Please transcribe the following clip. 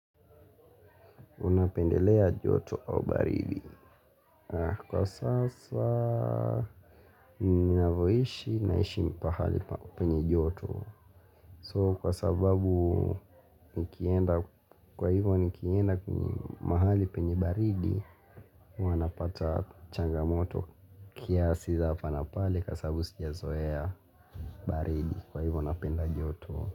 Unapendelea joto au baridi kwa sasa mimi ninavyo ishi naishi pahali penye joto soo kwa sababu nikienda kwa hivyo nikienda kwenye mahali penye baridi wanapata changamoto kiasi za hapa na pale kwa sababu sija zoea baridi kwa hivyo napenda joto.